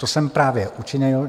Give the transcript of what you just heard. To jsem právě učinil.